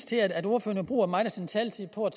til at ordføreren bruger meget af sin taletid på